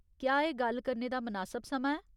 क्या एह् गल्ल करने दा मनासब समां ऐ?